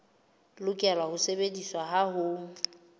lokela ho sebediswa ha ho